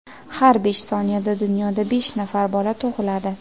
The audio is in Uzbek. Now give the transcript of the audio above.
Har besh soniyada dunyoda besh nafar bola tug‘iladi.